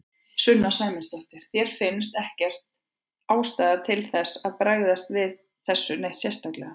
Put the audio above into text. Sunna Sæmundsdóttir: Þér finnst ekkert ástæða til þess að bregðast við þessu neitt sérstaklega?